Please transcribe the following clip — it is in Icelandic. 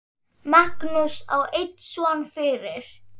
Magnús á einn son fyrir.